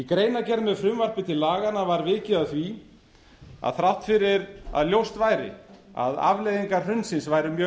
greinargerð með frumvarpi til laganna var vikið að því að þrátt fyrir að ljóst væri að afleiðingar hrunsins væru mjög